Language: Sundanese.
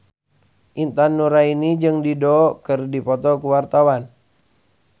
Intan Nuraini jeung Dido keur dipoto ku wartawan